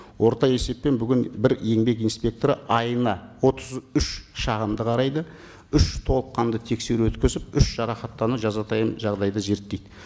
орта есеппен бүгін бір еңбек инспекторы айына отыз үш шағымды қарайды үш толыққанды тексеру өткізіп үш жарақаттану жазатайым жағдайды зерттейді